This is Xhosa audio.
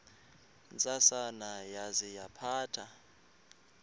ntsasana yaza yaphatha